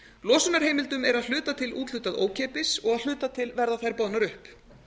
losunarheimildum er að hluta til úthlutað ókeypis og að hluta til verða þær boðnar upp